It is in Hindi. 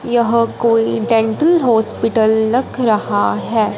यह कोई डेंटल हॉस्पिटल लग रहा हैं।